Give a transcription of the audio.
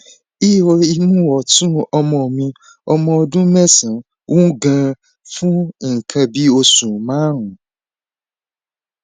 ihò imú ọtún ọmọ mi ọmọ ọdún mẹsànán wú ganan fún nǹkan bí oṣù márùnún